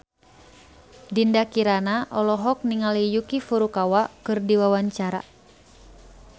Dinda Kirana olohok ningali Yuki Furukawa keur diwawancara